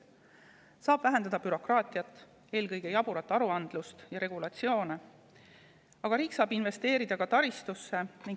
Selleks saab vähendada bürokraatiat, eelkõige jaburat aruandlust ja regulatsioone, aga riik saab investeerida ka taristusse.